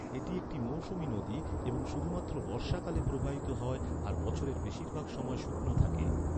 এটি একটি মৌসুমী নদী এবং শুধুমাত্র বর্ষাকালে প্রবাহিত হয় আর বছরের বেশিরভাগ সময় শুকনো থাকে।